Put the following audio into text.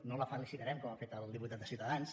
no la felicitarem com ha fet el diputat de ciutadans